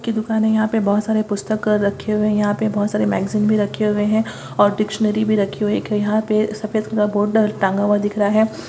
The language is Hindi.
की दुकान है| यहां पे बहुत सारे पुस्तक रखे हुए हैं| यहां पे बहुत सारे मैगजीन भी रखे हुए हैं और डिक्शनरी भी रखी हुई है| एक यहां पे सफेद कलर का बोर्ड टांगा दिख रहा है।